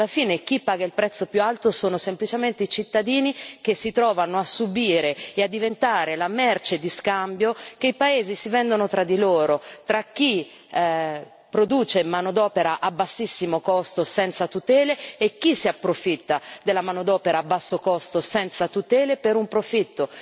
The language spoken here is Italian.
Alla fine chi paga il prezzo più alto sono semplicemente i cittadini, che si trovano a subire e a diventare la merce di scambio che i paesi si vendono tra di loro, tra chi produce manodopera a bassissimo costo, senza tutele, e chi si approfitta della manodopera a basso costo, senza tutele per un profitto.